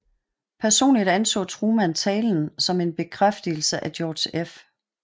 Personligt anså Truman talen som en bekræftelse af George F